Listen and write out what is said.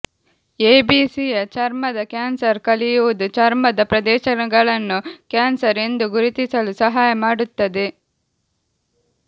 ಎಬಿಸಿಯ ಚರ್ಮದ ಕ್ಯಾನ್ಸರ್ ಕಲಿಯುವುದು ಚರ್ಮದ ಪ್ರದೇಶಗಳನ್ನು ಕ್ಯಾನ್ಸರ್ ಎಂದು ಗುರುತಿಸಲು ಸಹಾಯ ಮಾಡುತ್ತದೆ